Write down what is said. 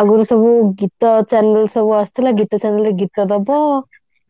ଆଗରୁ ସବୁ ଗୀତ channel ସବୁ ଆସୁଥିଲା ଗୀତ channel ରେ ଗୀତ ଦବ